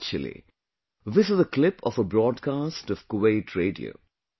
Actually, this is a clip of a broadcast of Kuwait Radio